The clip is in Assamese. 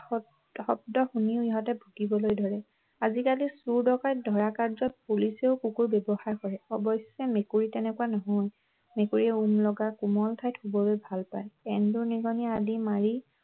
শব্দ শুনি ইহঁতে ভুকিবলৈ ধৰে আজিকালি চোৰ ডকাইট ধৰা কাৰ্য্যত পুলিচেও কুকুৰ ব্যৱহাৰ কৰে অৱশ্যে মেকুৰী তেনেকুৱা নহয় মেকুৰীয়ে ওম লগা কোমল ঠাইত শুৱলৈ ভাল পায় এন্দুৰ নিগনি আদি মাৰি